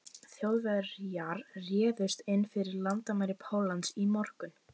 Þjóðverjar réðust inn fyrir landamæri Póllands í morgun.